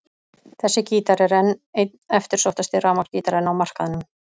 Þessi gítar er enn einn eftirsóttasti rafmagnsgítarinn á markaðnum.